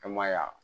An ma y'a